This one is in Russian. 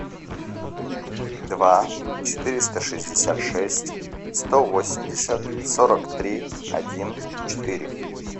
два четыреста шестьдесят шесть сто восемьдесят сорок три один четыре